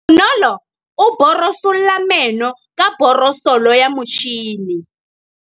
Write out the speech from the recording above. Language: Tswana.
Bonolô o borosola meno ka borosolo ya motšhine.